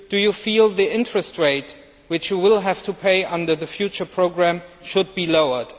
Do you feel that the interest rate which you will have to pay under the future programme should be lowered?